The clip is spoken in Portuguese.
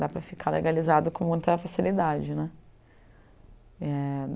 Dá para ficar legalizado com muita facilidade né. É